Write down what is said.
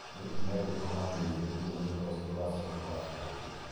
Nĩ ikinya rĩrĩkũ mangĩoire nĩguo ũndũ ta ũcio ndũgacooke kũhaanĩka rĩngĩ?